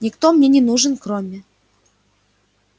никто мне не нужен кроме